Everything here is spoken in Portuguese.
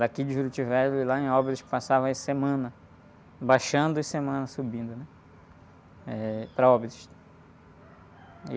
Daqui de Juriti Velho ir lá em Óbidos. Passavam a semana baixando, e semana subindo... Eh, para Óbidos.